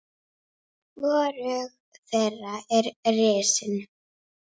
BAUJA: Komið þið hérna!